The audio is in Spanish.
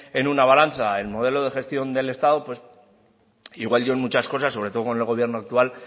en una balanza el modelo de gestión del estado pues igual yo en muchas cosas sobre todo con el gobierno actual